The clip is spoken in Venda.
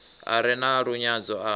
a re na lunyadzo a